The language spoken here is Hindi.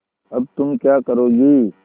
अब तुम क्या करोगी